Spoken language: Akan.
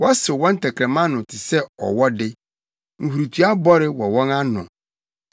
Wɔsew wɔn tɛkrɛma ano te sɛ ɔwɔ de; nhurutoa bɔre wɔ wɔn ano.